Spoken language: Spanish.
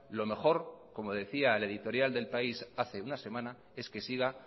lo mejor como decía el editorial del país hace una semana es que siga